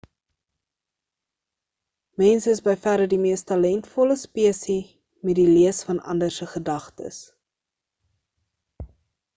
mense is by verre die mees talentvolle spesie met die lees van ander se gedagtes